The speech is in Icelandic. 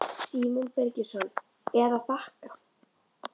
Símon Birgisson: Eða þakka?